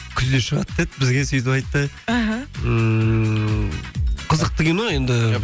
күзде шығады деді бізге сөйтіп айтты іхі ммм қызықты кино енді